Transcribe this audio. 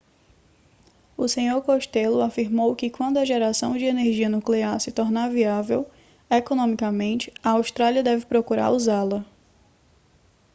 o senhor costello afirmou que quando a geração de energia nuclear se tornar viável economicamente a austrália deve procurar usá-la